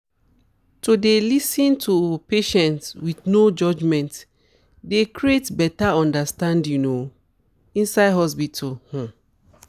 to dey lis ten to patients with no judgement dey create better understanding um inside hospitals um